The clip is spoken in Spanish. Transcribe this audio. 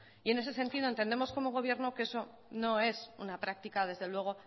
en ese sentido entendemos como gobierno que eso no es una práctica desde luego